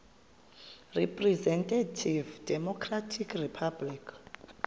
representative democratic republic